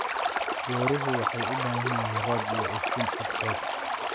Beeruhu waxay u baahan yihiin roob iyo iftiin cadceed.